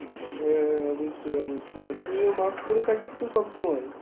হ্যাঁ, অবশ্যই অবশ্যই আর তুই ও mask পরে থাকিস তো সবসময়?